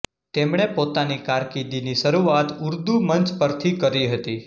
તેમણે પોતાની કારકિર્દીની શરૂઆત ઉર્દૂ મંચ પરથી કરી હતી